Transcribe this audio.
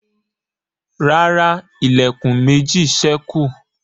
ràrá Ilẹ̀kùn méjì sẹku.